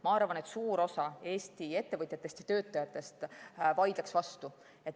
Ma arvan, et suur osa Eesti ettevõtjatest ja töötajatest vaidleks vastu.